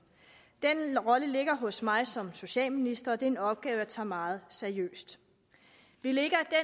den rolle ligger hos mig som socialminister og det er en opgave jeg tager meget seriøst vi lægger